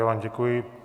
Já vám děkuji.